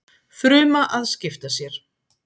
fruma að skipta sér